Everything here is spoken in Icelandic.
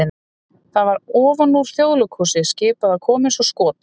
það var ofan úr Þjóðleikhúsi skipað að koma eins og skot!